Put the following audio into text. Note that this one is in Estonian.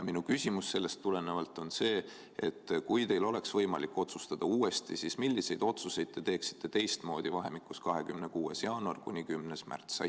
Minu küsimus sellest tulenevalt on: kui teil oleks võimalik otsustada uuesti, siis millised otsused te teeksite teistmoodi vahemikus 26. jaanuar kuni 10. märts?